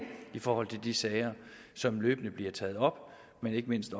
i forhold til de sager som løbende bliver taget op og ikke mindst